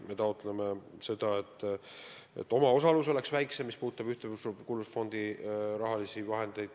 Me taotleme ka seda, et omaosalus Ühtekuuluvusfondi projektide puhul oleks väiksem.